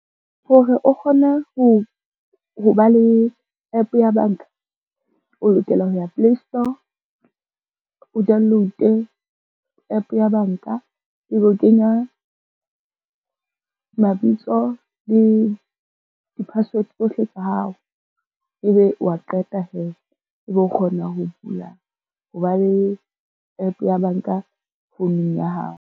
Ho re o kgona ho ba le app ya banka o lokela ho ya Playstore, o download-e app ya banka, e be o kenya mabitso le di-password tsohle tsa hao, e be wa qeta hee ebe o kgona ho ba le app ya banka founung ya hao.